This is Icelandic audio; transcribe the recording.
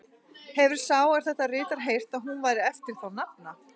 Hefir sá, er þetta ritar, heyrt, að hún væri eftir þá nafna